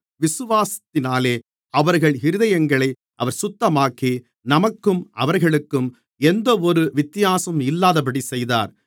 விசுவாசத்தினாலே அவர்கள் இருதயங்களை அவர் சுத்தமாக்கி நமக்கும் அவர்களுக்கும் எந்தவொரு வித்தியாசமும் இல்லாதபடி செய்தார்